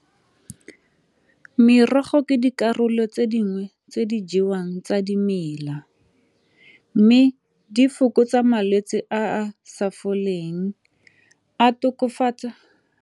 Merogo ke dikarolo tse dingwe tse di jewang tsa dimela mme di fokotsa malwetse a a sa foleng a tokofatsa a .